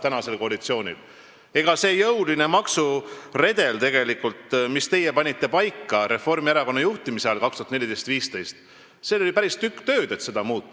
Tegelikult oli selle jõulise maksuredeli muutmisega, mille teie aastatel 2014–2015 Reformierakonna juhtimise all paika panite, päris tükk tööd.